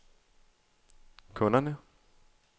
kunderne